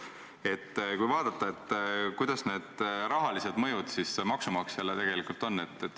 Peaks vaatama, milline on rahaline mõju maksumaksjale.